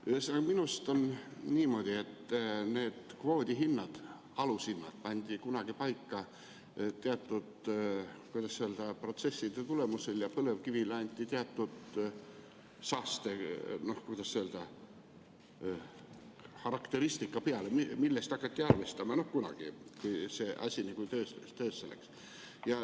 Ühesõnaga, minu arust on niimoodi, et need kvoodihinnad, alushinnad pandi kunagi paika teatud, kuidas öelda, protsesside tulemusel ja põlevkivile anti teatud saastekarakteristika, millest hakati arvestama – noh kunagi, kui see asi töösse läks.